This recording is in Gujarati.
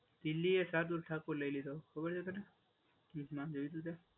દિલ્હી એ સાદુ ઠાકોર લઈ લીધો. ખબર છે તને? એનું નામ જોયું હતું તે?